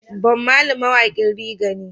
Bom Marley mawaƙin reggae ne